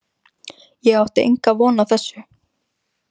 Ég átti enga von á þessu.